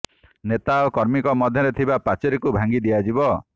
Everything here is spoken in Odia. ନେତା ଓ କର୍ମୀଙ୍କ ମଧ୍ୟରେ ଥିବା ପାଚେରୀକୁ ଭାଙ୍ଗି ଦିଆଯିବ